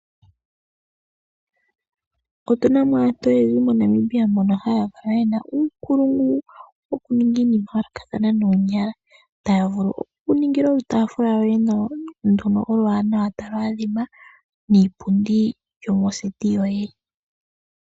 Otu na mo aantu oyendji moNamibia mbono haya kala ye na uunkulungu wokuninga iinima yayoolokathana noonyala, taya vulu okukuningila olutaafula lwoye nawa, ndono talu adhima niipundi yomoseti yoye.